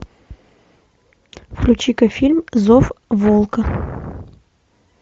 включи ка фильм зов волка